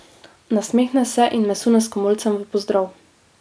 Nasmehne se in me sune s komolcem v pozdrav.